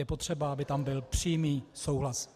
Je potřeba, aby tam byl přímý souhlas.